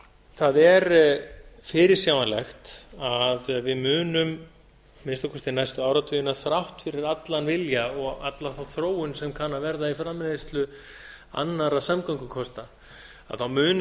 það er fyrirsjáanlegt að við munum að minnsta kosti næstu áratugina þrátt fyrir allan vilja og alla þá þróun sem kann að verða í framleiðslu annarra samgöngukosta munum